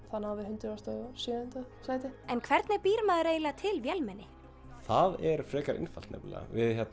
þá náðum við hundrað og sjöunda sæti en hvernig býr maður eiginlega til vélmenni það er frekar einfalt nefnilega